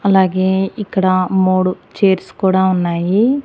అలాగే ఇక్కడ మూడు చైర్స్ కూడా ఉన్నాయి.